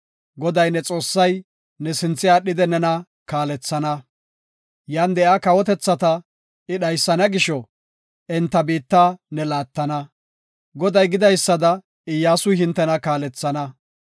Goday, ne Xoossay ne sinthe aadhidi nena kaalethana. Yan de7iya kawotethata I dhaysana gisho, enta biitta ne laattana. Goday gidaysada Iyyasuy hintena kaalethana.